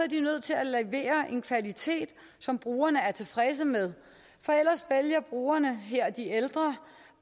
de nødt til at levere en kvalitet som brugerne er tilfredse med for ellers vælger brugerne her de ældre